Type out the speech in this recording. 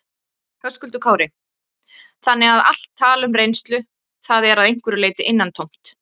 Höskuldur Kári: Þannig að allt tal um reynslu, það er að einhverju leyti innantómt?